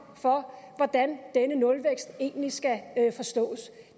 for hvordan denne nulvækst egentlig skal forstås